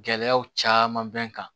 Gɛlɛyaw caman bɛ n kan